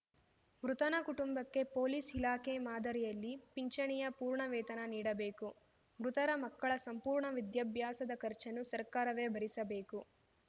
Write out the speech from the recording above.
ಮೃತನ ಕುಟುಂಬಕ್ಕೆ ಪೊಲೀಸ್‌ ಇಲಾಖೆ ಮಾದರಿಯಲ್ಲಿ ಪಿಂಚಣಿಯ ಪೂರ್ಣ ವೇತನ ನೀಡಬೇಕು ಮೃತರ ಮಕ್ಕಳ ಸಂಪೂರ್ಣ ವಿದ್ಯಾಭ್ಯಾಸದ ಖರ್ಚನ್ನು ಸರ್ಕಾರವೇ ಭರಿಸಬೇಕು